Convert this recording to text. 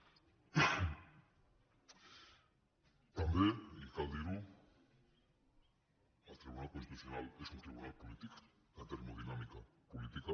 també i cal dir ho el tribunal constitucional és un tribunal polític de termodinàmica política